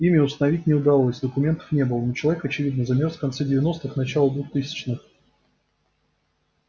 имя установить не удалось документов не было но человек очевидно замёрз в конце девяностых начало двухтысячных